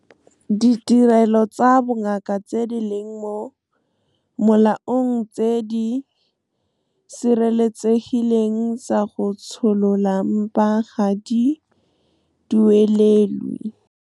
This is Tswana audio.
Ditirelo tsa bongaka tse di leng mo molaong tse di sireletsegileng tsa go tsholola mpa ga di duelelwe. Ditirelo tsa bongaka tse di leng mo molaong tse di sireletsegileng tsa go tsholola mpa ga di duelelwe.